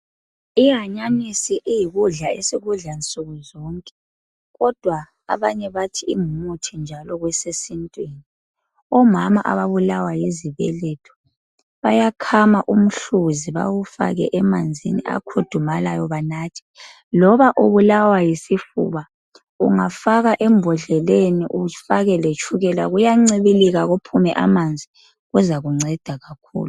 Ihanyanisi eyikudla esikudla nsukuzonke kodwa abanye bathi ingumuthi njalo kwesesintwini. Omama ababulawa yizibeletho bayakhama umhluzi bawufake emanzini akhudumalayo benathe loba ubulawa yisifuba ungafaka embodleleni ufake letshukela kuyancibilika kuphume amanzi kuzakunceda kakhulu